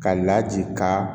Ka laji ka